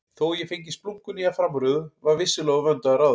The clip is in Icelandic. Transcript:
Þó ég fengi splunkunýja framrúðu var vissulega úr vöndu að ráða.